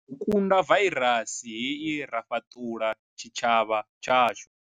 U kunda vairasi hei ra fhaṱulula tshitshavha tshashu.